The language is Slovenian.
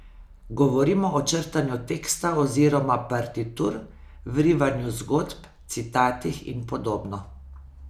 Govorimo o črtanju teksta oziroma partitur, vrivanju zgodb, citatih in podobno.